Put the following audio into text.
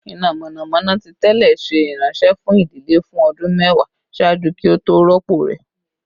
ina mọnamọna ti tẹlẹ ṣe iranṣẹ fun idile fun ọdun mẹwa ṣaaju ki o to rọpo rẹ